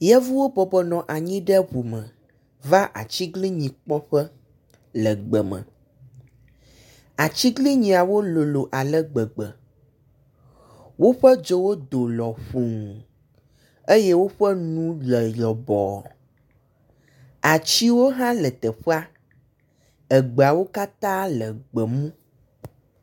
Yevuwo bɔbɔ nɔ anyi ɖe ŋu me, va atiglinyi kpɔ ƒe le gbeme. Atiglinyiawo lolo ale gbegbe, woƒe dzowo do lɔƒuu eye woƒe nu le lɔbɔɔ. Atiwo hã le teƒea, egbeawo katã le gbemu.